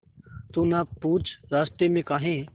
तू ना पूछ रास्तें में काहे